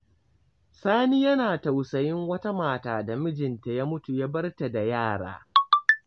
Sani yana tausayin wata mata da mijinta ya mutu ya bar ta da yara.